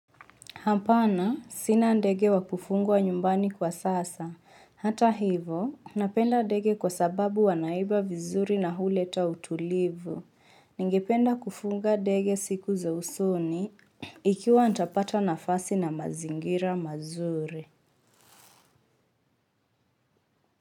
Hapana, sina ndege wa kufungwa nyumbani kwa sasa. Hata hivo, napenda ndege kwa sababu wanaiba vizuri na huleta utulivu. Ningependa kufunga ndege siku za usoni, ikiwa nitapata nafasi na mazingira mazuri.